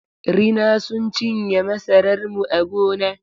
Rina sun cinye masarar mu a gona.